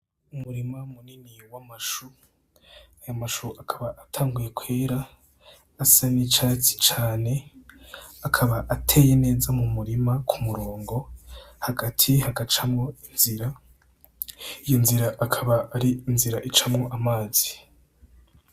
Umurima munini w'amashu , ayo mashu akaba atanguye kwera asa n'icatsi cane, akaba ateye neza mu murima k'umurongo hagati hagacamwo inzira , inzira akaba ari inzira icamwo amazi.